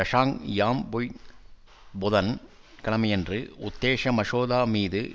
Tsang Yam Pui புதன் கிழமையன்று உத்தேச மசோதா மீது